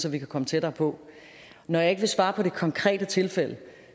at vi kan komme tættere på når jeg ikke vil svare på det konkrete tilfælde